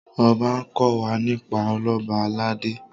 ọba nkò wá nípa Ọlọba aládé